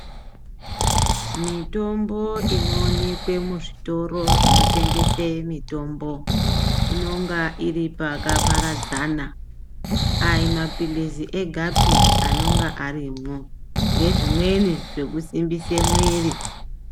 Mitombo inoonekwe muzvitoro zvinotengeswe mitombo inonga iri pakaparadzana aimapirizi egapi anenga arimwo nezvimweni zvekusimbisa mwiiri.